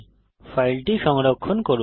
এখন ফাইলটি সংরক্ষণ করুন